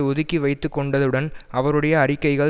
ஒதுக்கி வைத்து கொண்டதுடன் அவருடைய அறிக்கைகள்